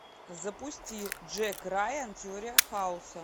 запусти джек райан теория хаоса